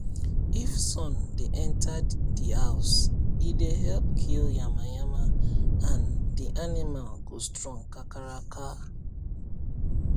if sun dey enter di house e dey help kill yamayama and di animal go strong kakaraka